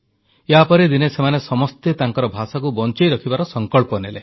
ୟା ପରେ ଦିନେ ସେମାନେ ସମସ୍ତେ ତାଙ୍କର ଭାଷାକୁ ବଂଚାଇ ରଖିବାର ସଂକଳ୍ପ ନେଲେ